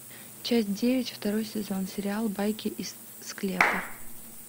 часть девять второй сезон сериал байки из склепа